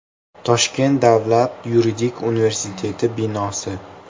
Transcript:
Toshkent davlat yuridik universiteti binosi.